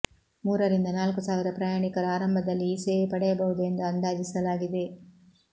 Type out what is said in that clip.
ಮೂರರಿಂದ ನಾಲ್ಕು ಸಾವಿರ ಪ್ರಯಾಣಿಕರು ಆರಂಭದಲ್ಲಿ ಈ ಸೇವೆ ಪಡೆಯಬಹುದು ಎಂದು ಅಂದಾಜಿಸಲಾಗಿದೆ